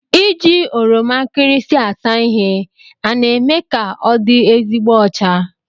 Iji oroma nkịrịsị asa ihe a na-eme ka ọdị ezigbo ọcha?